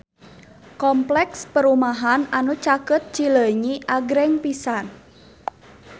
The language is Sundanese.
Kompleks perumahan anu caket Cileunyi agreng pisan